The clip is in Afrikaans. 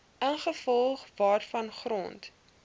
ingevolge waarvan grond